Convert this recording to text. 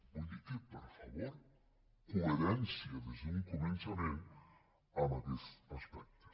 vull dir que per favor coherència des d’un començament en aquests aspectes